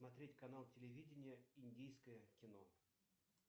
смотреть канал телевидения индийское кино